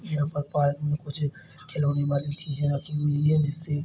यहाँ पर पार्क में कुछ खिलोने वाली चीज़े रखी हुई हैं जिससे--